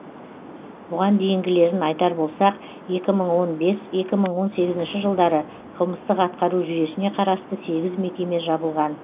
бұған дейінгілерін айтар болсақ екі мың он бес екі мың он сегізінші жылдары қылмыстық атқару жүйесіне қарасты сегіз мекеме жабылған